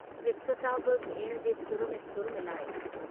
वित्सता बि भेण जे सुर में सुर मिलायो।